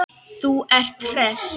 Þú ert hress!